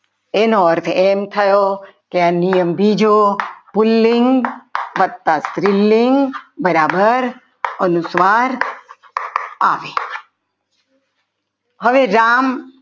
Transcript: એનો અર્થ એમ થયો કે આ નિયમ બીજો પુલ્લિંગ વત્તા સ્ત્રીલિંગ બરાબર અનુસ્વાર આવે હવે રામ આવ્યા.